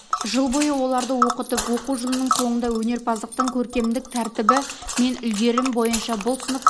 жыл бойы оларды оқытып оқу жылының соңында өнерпаздықтың көркемдік тәртіпбі мен үлгерім бойынша бұл сынып